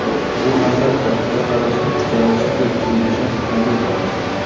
Bu, albatta, bir qarashda zararsizdek tuyulishi tabiiy holat.